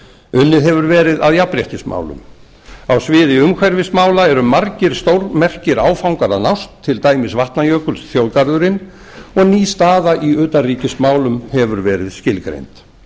unnið hefur verið að jafnréttismálum á sviði umhverfismála eru margir stórmerkir áfangar að nást til dæmis vatnajökulsþjóðgarðurinn og ný staða í utanríkismálum hefur verið skilgreind